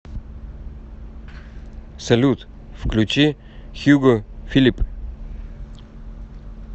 салют включи хьюго филип